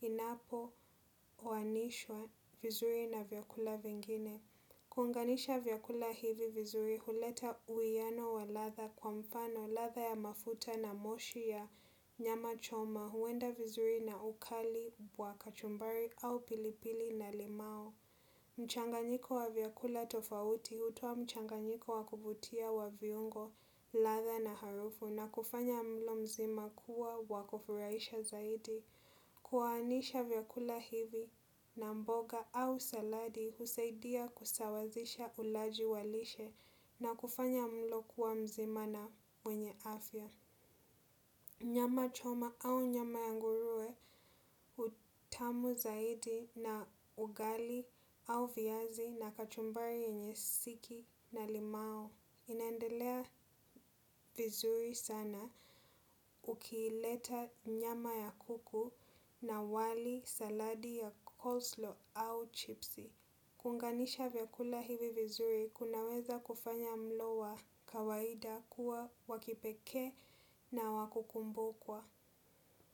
inapowanishwa vizuri na vyakula vingine. Kuunganisha vyakula hivi vizuri, huleta uwiano wa ladha kwa mfano ladha ya mafuta na moshi ya nyama choma huenda vizuri na ukali wa kachumbari au pilipili na limau. Mchanganyiko wa vyakula tofauti hutoa mchanganyiko wa kuvutia wa viungo, ladha na harufu na kufanya mlo mzima kuwa wa kufurahisha zaidi. Kuwaanisha vyakula hivi na mboga au saladi husaidia kusawazisha ulaji wa lishe na kufanya mlo kuwa mzima na wenye afya. Nyama choma au nyama ya nguruwe utamu zaidi na ugali au viazi na kachumbari yenye siki na limau. Inaendelea vizuri sana ukiileta nyama ya kuku na wali, saladi ya coleslaw au chipsi. Kuunganisha vyakula hivi vizuri, kunaweza kufanya mlo wa kawaida kuwa wa kipekee na wa kukumbukwa.